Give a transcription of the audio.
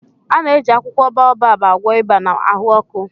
A na-eji akwụkwọ baobab agwọ ịba na ahụ ọkụ